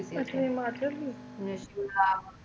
ਅੱਛਾ ਹਿਮਾਚਲ ਦੀ .